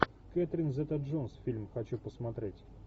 кэтрин зета джонс фильм хочу посмотреть